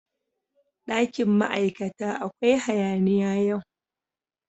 Dakin ma'aikata akwai hayaniya yau.